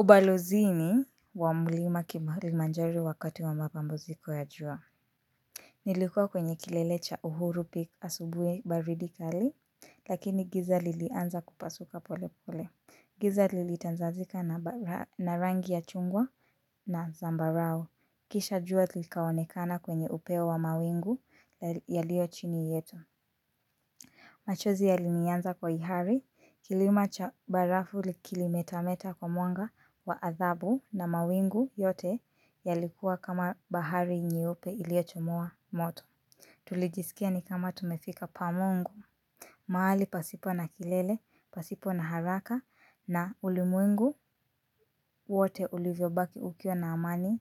Ubalozini wa mulima kilimanjaro wakati wa mapambaziko ya jua. Nilikuwa kwenye kilele cha uhuru peak asubui baridi kali. Lakini giza lilianza kupasuka pole pole. Giza lilitanzazika na rangi ya chungwa na zambarao. Kisha jua likaonekana kwenye upeo wa mawingu yalio chini yetu. Machozi yalinianza kwa ihari, kilima cha barafu kilimetameta kwa mwanga wa athabu na mawingu yote yalikuwa kama bahari nyeuipe iliochomoa moto. Tulijisikia ni kama tumefika pa mungu. Mahali pasipo na kilele, pasipo na haraka na ulimwengu wote ulivyo baki ukiwa na amani